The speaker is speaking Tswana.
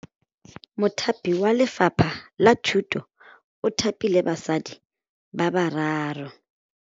Mothapi wa Lefapha la Thutô o thapile basadi ba ba raro.